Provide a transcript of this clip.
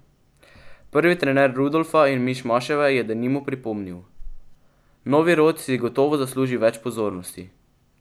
Prvi, trener Rudolfa in Mišmaševe, je denimo pripomnil: "Novi rod si gotovo zasluži več pozornosti.